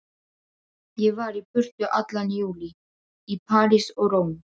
Ég var í burtu allan júlí, í París og Róm.